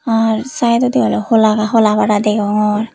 ar side odi oleh hola hola pada oh degongor.